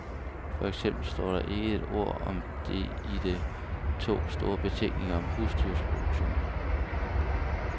For eksempel står der ikke et ord om det i de to store betænkninger om husdyrproduktion.